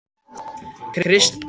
Kristrós, hvað er á dagatalinu í dag?